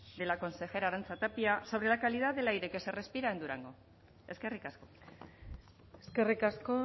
de la consejera arantxa tapia sobre la calidad del aire qu ese respira en durango eskerrik asko eskerrik asko